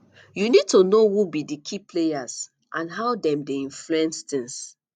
you need to know who be di key players and how dem dey influence tings